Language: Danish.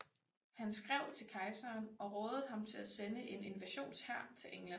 Han skrev til kejseren og rådede ham til at sende en invasionshær til England